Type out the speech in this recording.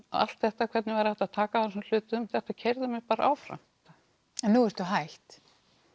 allt þetta hvernig væri hægt að taka á þessum hlutum þetta keyrði mig bara áfram en nú ertu hætt